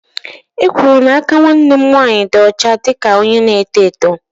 E kwuru n'aka nwanne m nwanyị dị ọcha dị ka onye na-eto eto.